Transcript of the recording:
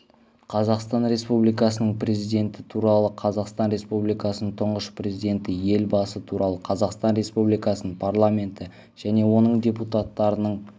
қазақстан республикасының президенті туралы қазақстан республикасының тұңғыш президенті елбасы туралы қазақстан республикасының парламенті және оның депутаттарының